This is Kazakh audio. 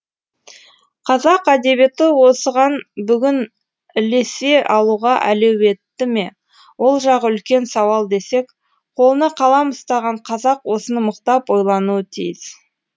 қазақ әдебиеті осыған бүгін ілесе алуға әлеуетті ме ол жағы үлкен сауал десек қолына қалам ұстаған қазақ осыны мықтап ойлануы тиіс